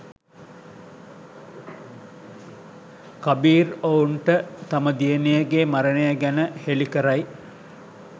කබීර් ඔවුන්ට තම දියණියගේ මරණය ගැන හෙලි කරයි.